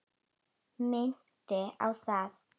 Minnti á það.